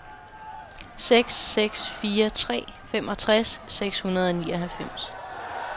seks seks fire tre femogtres seks hundrede og nioghalvfems